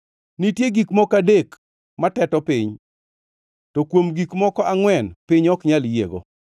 “Nitie gik moko adek mateto piny, to kuom gik moko angʼwen piny ok nyal yiego: